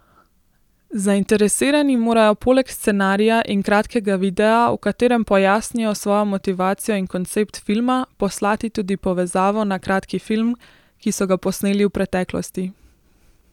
Zainteresirani morajo poleg scenarija in kratkega videa, v katerem pojasnijo svojo motivacijo in koncept filma, poslati tudi povezavo na kratki film, ki so ga posneli v preteklosti.